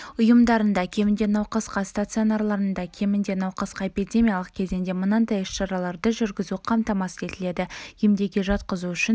ұйымдарында кемінде науқасқа стационарларда кемінде науқасқа эпидемиялық кезеңде мынадай іс-шараларды жүргізу қамтамасыз етіледі емдеуге жатқызу үшін